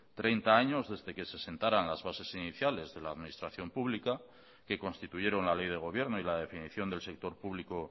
treinta años desde que se sentaran las bases iniciales de la administración pública que constituyeron la ley de gobierno y la definición del sector público